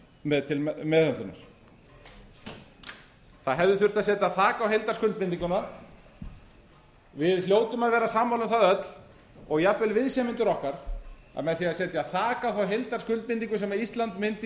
með til meðhöndlunar það hefði þurft að setja þak á heildarskuldbindinguna við hljótum að vera sammála um það öll og jafnvel viðsemjendur okkar að með því að setja þak á þá heildarskuldbindingu sem íslandi mundi í